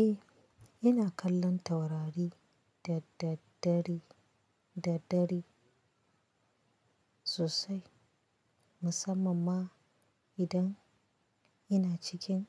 Eh, ina kallon taurari da daddare, da dare sosai, musamman ma idan ina cikin